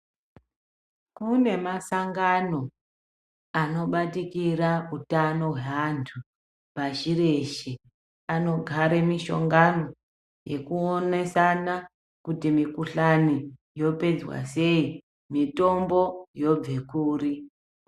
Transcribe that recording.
Kune masangano anobatikira utano hweantu pashi reshe. Anogare mishongano yekuonesana kuti mukhuhlani yopedzwa sei, mitombo yobve kuri.